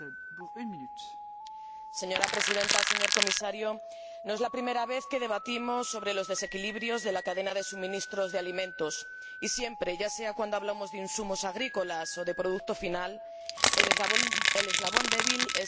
Señora Presidenta, señor Comisario, no es la primera vez que debatimos sobre los desequilibrios de la cadena de suministro de alimentos y, siempre, ya sea cuando hablamos de insumos agrícolas o de producto final, el eslabón débil es el del productor primario.